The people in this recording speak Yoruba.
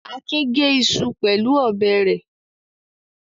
Akin gé iṣu pẹ̀lú ọ̀bẹ rẹ̀.